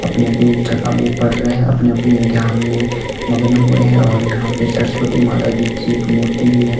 अपनी अपनी जगह में पड़ रहे हैं अपने-अपने ध्यान में मग्न हुए हैं और यहां पर सरस्वती माता जी की एक मूर्ति भी है।